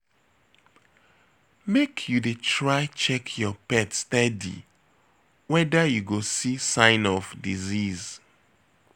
Make you dey try check your pet steady weda you go see sign of disease.